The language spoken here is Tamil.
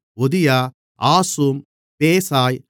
ஒதியா ஆசூம் பேசாய்